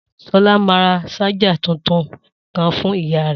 Solá ma ra ṣájà tuntun kan fun ìyá rẹ̀